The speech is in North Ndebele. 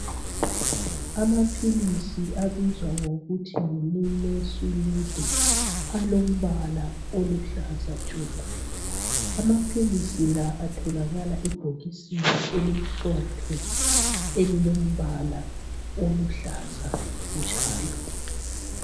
Amaphilisi abizwa ngokuthi Yi nimesulide ,alombala oluhlaza tshoko. Amaphilisi la atholakala ebhokisini elimhlophe elilombala oluhlaza njalo.